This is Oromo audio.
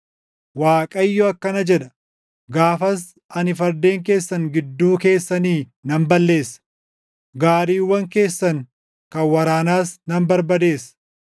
Waaqayyo akkana jedha; “Gaafas ani fardeen keessan gidduu keessanii nan balleessa; gaariiwwan keessan kan waraanaas nan barbadeessa.